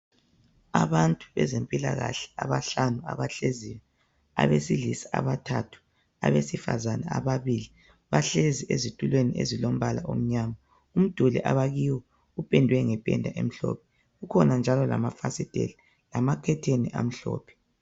Abantu abezempilakahle abahlanu abahleziyo. Abesilisa abathathu abesifazana ababili. Bahlezi esitulweni ezilombala omnyama. Umduli abakiwo upendwe ngependa emhlophe kukhona njalo lamafasiteli lamakhetheni amhlophe